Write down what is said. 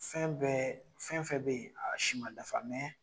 Fɛn bɛɛ , fɛn fɛn be yen a si ma dafa